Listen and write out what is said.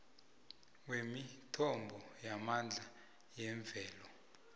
wemithombo yamandla yemvelo